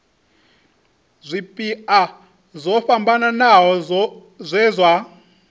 zwipia zwo fhambanaho zwe zwa